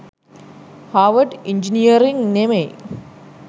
Harvard engineering නෙමෙයි.